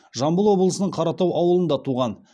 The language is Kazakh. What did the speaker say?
жамбыл облысының қаратау ауылында туған